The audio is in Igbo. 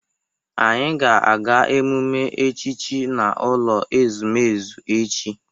Anyị ga-aga emume echichi n'ụlọ ezumezu echi.